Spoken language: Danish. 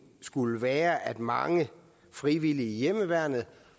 skulle være at mange frivillige i hjemmeværnet